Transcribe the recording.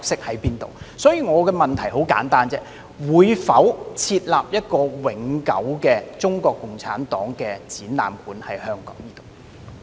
我的補充質詢很簡單，政府會否在香港設立一個永久的中國共產黨展覽館？